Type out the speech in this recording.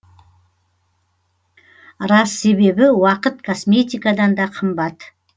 рас себебі уақыт косметикадан да қымбат